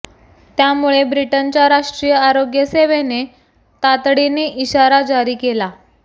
त्यामुळे ब्रिटनच्या राष्ट्रीय आरोग्य सेवेने तातडीने इशारा जारी केला